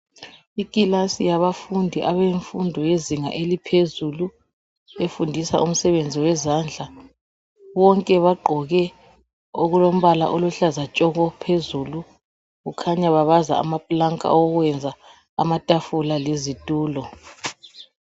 Ikilasi yabafundi abefundo eyezinga eliphezulu efundisa umsebenzi wezandla, bonke bagqoke okulompala oluhlaza tshoko phezulu kukhanya babaza amapulanka okwenza amatafula lezitulo.